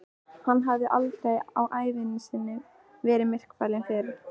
Hann hafði aldrei á ævi sinni verið myrkfælinn fyrr.